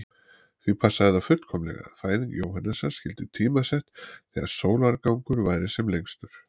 Því passaði það fullkomlega að fæðing Jóhannesar skyldi tímasett þegar sólargangur væri sem lengstur.